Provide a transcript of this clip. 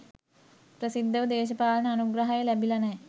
ප්‍රසිද්ධව දේශපාලන අනුග්‍රහය ලැබිල නෑ.